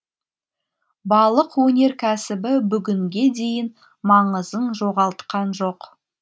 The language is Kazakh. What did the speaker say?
балық өнеркәсібі бүгінге дейін маңызын жоғалтқан жоқ